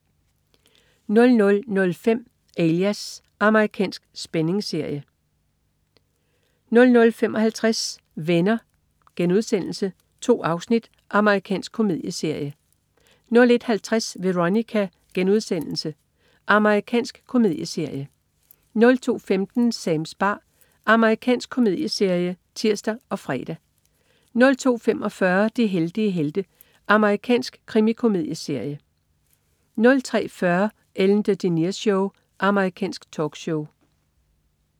00.05 Alias. Amerikansk spændingsserie 00.55 Venner.* 2 afsnit. Amerikansk komedieserie 01.50 Veronica.* Amerikansk komedieserie 02.15 Sams bar. Amerikansk komedieserie (tirs og fre) 02.45 De heldige helte. Amerikansk krimikomedieserie 03.40 Ellen DeGeneres Show. Amerikansk talkshow